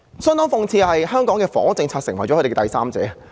相當諷刺的是，香港的房屋政策成為他們之間的第三者。